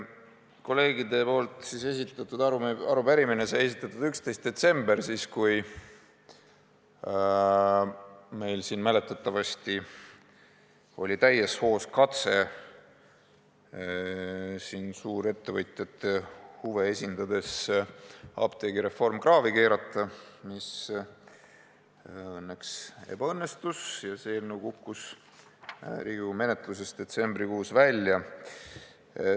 Kolleegidega esitatud arupärimine sai esitatud 11. detsembril, kui meil siin mäletatavasti oli täies hoos katse suurettevõtjate huve esindades apteegireform kraavi keerata, mis õnneks ebaõnnestus, see eelnõu kukkus Riigikogu menetlusest detsembrikuus välja.